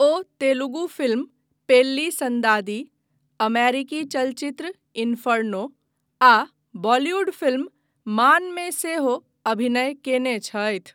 ओ Telugu film Pelli Sandadi, अमेरिकी चलचित्र Inferno आ बॉलीवुड फिल्म मानमे सेहो अभिनय कयने छथि।